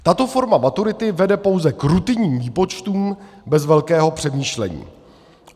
Tato forma maturity vede pouze k rutinním výpočtům bez velkého přemýšlení.